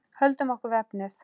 Höldum okkur við efnið.